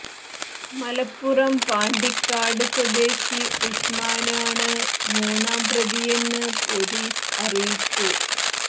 മലപ്പുറം പാണ്ടിക്കാട് സ്വദേശി ഉസ്മാന് ആണ് മൂന്നാം പ്രതിയെന്ന് പൊലീസ് അറിയിച്ചു